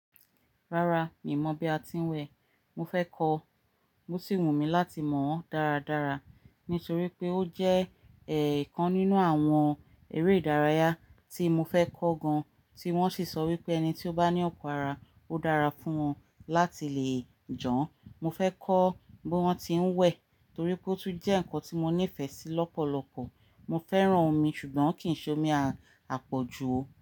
Rárá mi ò mọ̀ bí a ti ń wẹ̀. Mo fẹ́ kọ, mo sì wù mí láti mọ̀ ọ́n dáradára nítorí pé ó jẹ́ ẹ̀ kan nínú àwọn eré ìdárayá tí mo fẹ́ kọ́ gan, tí wọ́n sì sọ wípé ẹni tí ó bá ní ọ̀pọ̀ ara ó dára fún wọn láti lè jọn. Mo fẹ́ kọ bí wọ́n ti ń wẹ̀ torí pé ó tún jẹ́ ǹkan tí mo nífẹ̀ẹ́ sí lọ́pọ̀lọpọ̀. Mo fẹ́ràn omi ṣùgbọ́n kì í ṣe omi àpọ̀jù o.